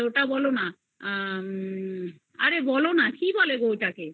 কি বলে আ আরে বলো না কি বলে ওটাকে অরে বলো না কি বলে ওটাকে